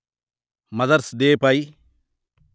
mothers day pi